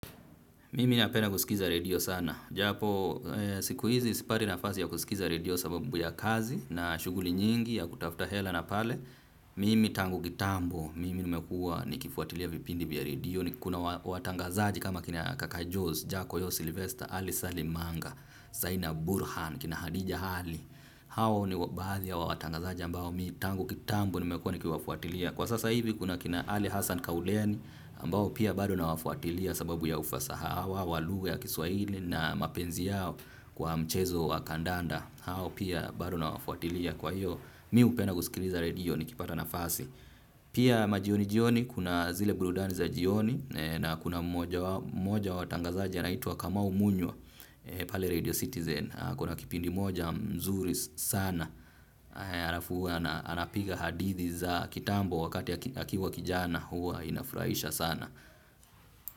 Mimi napenda kusikiza redio sana. Japo, siku hizi sipati nafasi ya kusikiza redio sababu ya kazi na shughuli nyingi ya kutafuta hela na pale. Mimi tangu kitambo, mimi nimekuwa nikifuatilia vipindi vya redio. Kuna watangazaji kama kina kaka Jules, Jaco Yo, Sylvester, Ali Salimanga, Saina Burhan, kina Hadija Ali. Hawo ni baadhi ya watangazaji ambao mimi tangu kitambo nimekuwa nikiwafuatilia. Kwa sasa hivi kuna kina Ali Hassan Kauleni ambao pia bado na wafuatilia sababu ya ufasaha wao wa lugha ya kiswahili na mapenzi yao kwa mchezo wa kandanda. Hao pia bado nawafuatilia kwa hiyo mimi hupenda kusikiliza redio nikipata nafasi. Pia majioni jioni kuna zile burudani za jioni, na kuna moja wa tangazaji anaitwa Kamau Munyo pale Radio Citizen. Kuna kipindi moja mzuri sana alafu huwa na anapiga hadithi za kitambo wakati akiwa kijana huwa inafurahisha sana.